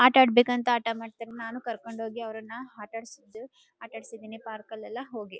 ಆಟ ಆಡ್ಬೇಕು ಅಂತ ಹಠ ಮಾಡ್ತಾನ್ ನಾನು ಕರ್ಕೊಂಡ್ ಹೋಗಿ ಅವರನ್ನ ಆಟ ಆಡ್ಸಿದು ಆಟ ಆಡ್ಸಿಧಿನಿ ಪಾರ್ಕ್ ಅಲ್ಲಿ ಎಲ್ಲ ಹೋಗಿ.